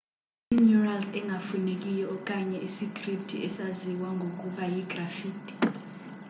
imurals engafunekiyo okanye isikripthi esaziwa ngokuba yigraffiti